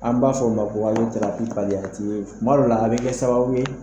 An b'a fɔ o ma ko aliyotirapi kaliyatiyo kuma dɔw la a be kɛ sababu ye